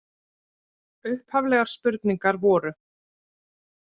Upphaflegar spurningar voru: